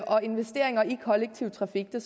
og investeringer i kollektiv trafik så